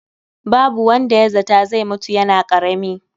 Babu wanda ya zata zai mutu yana ƙarami